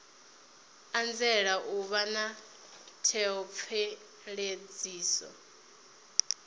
anzela u vha na theomveledziso